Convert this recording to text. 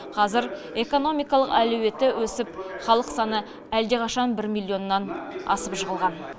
қазір экономикалық әлеуеті өсіп халық саны әлдеқашан бір миллионнан асып жығылған